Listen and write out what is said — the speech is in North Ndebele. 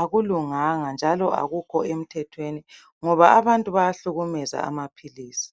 akulunganga njalo akukho emthethweni ngoba abantu bayahlukumeza amaphilisi.